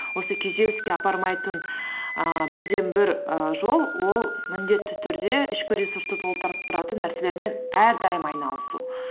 осы күйзеліске апармайтын ііі бірден бір і жол ол міндетті түрде ішкі ресурсты толтырып тұратын нәрселермен әрдайым айналысу